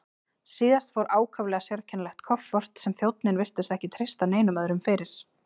Síðast fór ákaflega sérkennilegt kofort sem þjónninn virtist ekki treysta neinum öðrum fyrir.